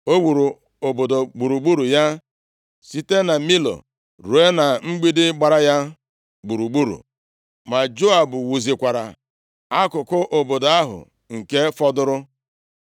O wuru obodo gburugburu ya, site na Milo ruo na mgbidi gbara ya gburugburu. Ma Joab wuzikwara akụkụ obodo ahụ nke fọdụrụ.